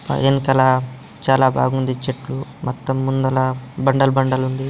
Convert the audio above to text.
వెనుకల చాలా బాగుంది చెట్లు మొత్తం ముందల బండలు బండలు ఉంది. .